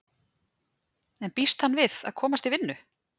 En býst hann við að komast í vinnu?